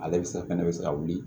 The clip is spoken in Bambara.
Ale bɛ sa fɛnɛ bɛ se ka wuli